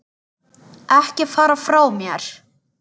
Ekki fara frá mér!